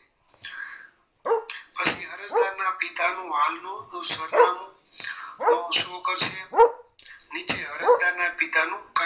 અરજદાર ના પિતા નું હાલનું સરનામું શું કરશે નીચે અરજદારના પિતાનું